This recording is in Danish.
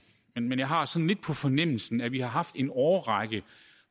men jeg har sådan lidt på fornemmelsen at vi har haft en årrække